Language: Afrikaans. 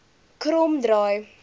kromdraai